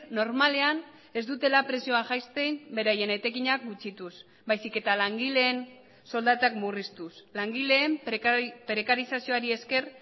normalean ez dutela prezioa jaisten beraien etekinak gutxituz baizik eta langileen soldatak murriztuz langileen prekarizazioari esker